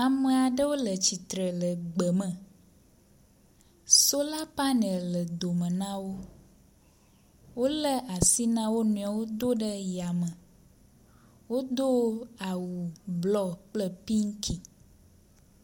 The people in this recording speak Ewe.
Ame aɖewo le tsitre le gbe me, sola paneli le dome nawo. Wolé asi na wo nɔewo do ɖe ya me. Wodo awu blɔ kple piŋki.